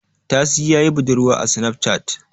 Tasi ya yi budurwa a sinaf cat